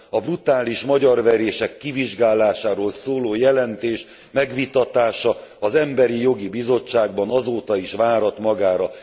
A brutális magyarverések kivizsgálásáról szóló jelentés megvitatása az Emberi Jogi Bizottságban, azóta is várat magára.